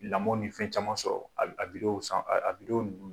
Lamɔn ni fɛn caman sɔrɔ a a san a a